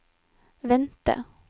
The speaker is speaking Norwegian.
vente